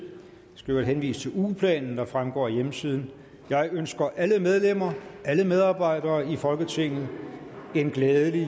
øvrigt henvise til ugeplanen der fremgår af hjemmesiden jeg ønsker alle medlemmer og alle medarbejdere i folketinget en glædelig